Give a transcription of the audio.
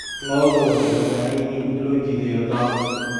Lo'du waxay u baahan yihiin in loo jiheeyo daaq.